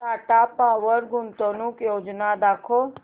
Tata power गुंतवणूक योजना दाखव